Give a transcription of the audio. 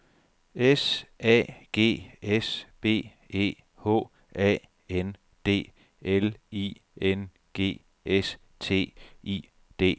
S A G S B E H A N D L I N G S T I D